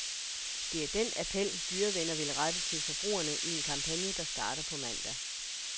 Det er den appel, dyrevenner vil rette til forbrugerne i en kampagne, der starter på mandag.